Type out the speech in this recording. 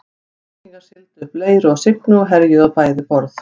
Víkingar sigldu upp Leiru og Signu og herjuðu á bæði borð.